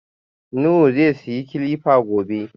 Nuhu zai siya kilifa gobe.